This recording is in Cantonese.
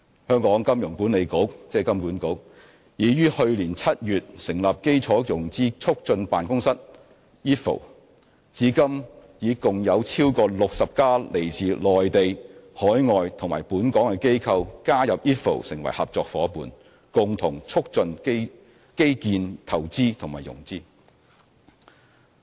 香港金融管理局已於去年7月成立基建融資促進辦公室，至今已共有超過60間來自內地、海外及本港的機構加入 IFFO 成為合作夥伴，共同促進基建投資及融資。